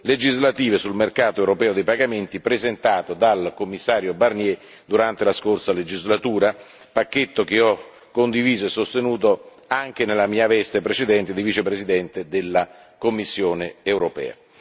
legislative sul mercato europeo dei pagamenti presentato dal commissario Barnier durante la scorsa legislatura, pacchetto che ho condiviso e sostenuto anche nella mia veste precedente di Vicepresidente della Commissione europea.